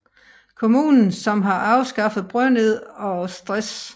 Kommunen som har afskaffet brødnid og stress